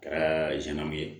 Kɛra sɛnnamu ye